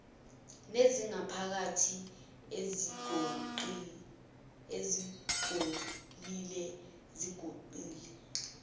nezangaphakathi ezingcolile zigoqiwe